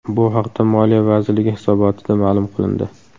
Bu haqda Moliya vazirligi hisobotida ma’lum qilindi .